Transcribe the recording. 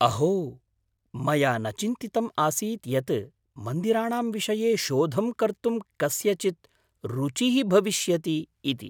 अहो, मया न चिन्तितम् आसीत् यत् मन्दिराणां विषये शोधं कर्तुं कस्यचित् रुचिः भविष्यति इति।